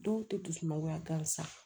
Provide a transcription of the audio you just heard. Dɔw tɛ dusuma gansan